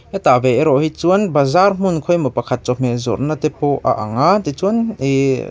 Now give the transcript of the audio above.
hetah ve erawh hi chuan bazaar hmun khawi emaw pakhat chawhmeh zawrhna te pawh a anga ti chuan--